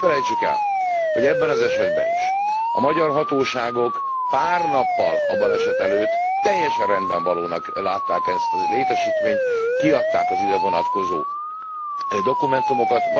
Azonban ne felejtsük el, hogy ebben az esetben is a magyar hatóságok pár nappal a baleset előtt teljesen rendben valónak látták ezt a létesítményt, kiadták az ide vonatkozó dokumentumokat.